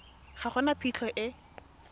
ga go na phitlho e